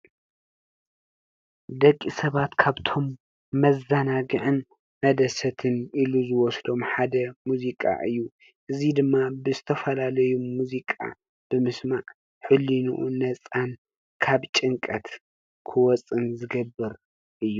ደቂ ሰባት ካብቶም መዘናግዕን መደሰትን ኢሉ ዝወስዶም ሓደ ሙዚቃ እዩ እዙይ ድማ ብዝተፈላለዩ ሙዚቃ ብምስማዕ ሕሊንኡ ነፃን ካብ ጭንቀት ክወፅእን ዝገብር እዩ።